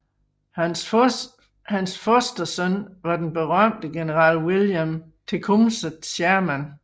Hans fostersøn var den berømte general William Tecumseh Sherman